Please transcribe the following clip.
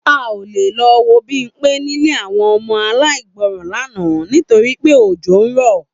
A ò lè lo̩ wo Bímpé nílé àwo̩n o̩mo̩ aláìgbó̩ran lánàá nítorí pé òjó rò̩